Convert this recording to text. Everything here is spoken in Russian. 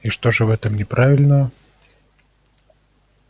и что же в этом неправильного